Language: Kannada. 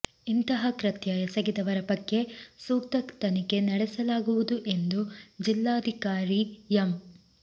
ಇಂತಹ ಕೃತ್ಯ ಎಸಗಿದವರ ಬಗ್ಗೆ ಸೂಕ್ತ ತನಿಖೆ ನಡೆಸಲಾಗುವುದು ಎಂದು ಜಿಲ್ಲಾಧಿಕಾರಿ ಎಂ